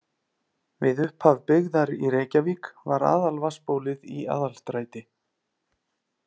Við upphaf byggðar í Reykjavík var aðalvatnsbólið í Aðalstræti.